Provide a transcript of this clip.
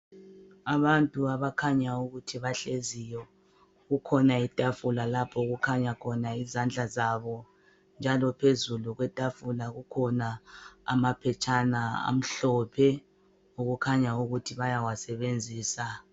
Abantu abakhanya ukuthi bahleziyo kukhona itafula okukhanya izandla zabo njalo phezu kwetafula kukhona amaphetshana amhlophe okukhanya ukuthi bayawasebenzisa.